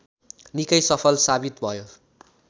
निकै सफल साबित भयो